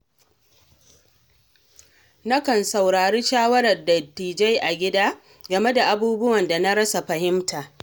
Nakan saurari shawarar dattijai a gida, game da abubuwan da na rasa fahimta.